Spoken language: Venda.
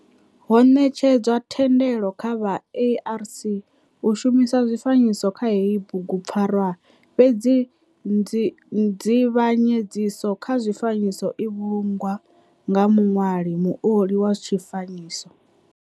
Ho netshedzwa thendelo kha vha ARC u shumisa zwifanyiso kha heyi bugu pfarwa fhedzi nzivhanyedziso kha zwifanyiso i vhulungwa nga muṋwali, muoli wa tshifanyiso.